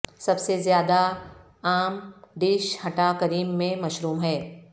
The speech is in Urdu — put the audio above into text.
سب سے زیادہ عام ڈش ھٹا کریم میں مشروم ہے